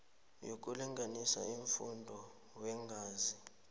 yokulinganisa umfutho weengazi